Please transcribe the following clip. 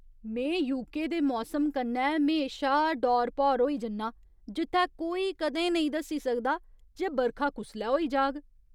में यूके दे मौसम कन्नै म्हेशा डौर भौर होई जन्नां जित्थै कोई कदें नेईं दस्सी सकदा जे बरखा कुसलै होई जाग।